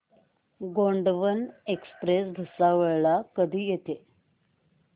Gondwana express Bhusawal ला कधी येते